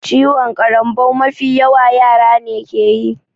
Ciwon ƙarambau mafi yawa yara ne keyi